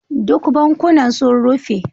Duk bankunan sun rufe.